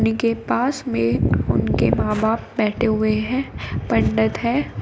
के पास में उनके मां बाप बैठे हुए हैं पंडित है।